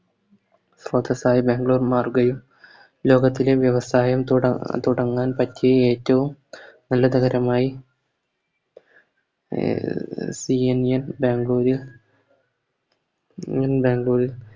സ്ത്രോതസ്സായി ബാംഗ്ലൂർ മാറുകയും ലോകത്തിലെ വ്യവസായം തുട തുടങ്ങാൻ പറ്റിയ ഏറ്റോം നല്ല നഗരമായി സിയന്നിയൻ ബാംഗ്ലൂര് ബാംഗ്ലൂര്